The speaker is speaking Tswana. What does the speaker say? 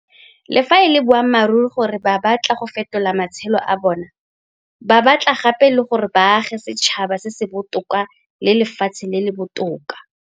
Le fa e le boammaruri gore ba batla go fetola matshelo a bona, ba batla gape le gore ba age setšhaba se se botoka le lefatshe le le botoka.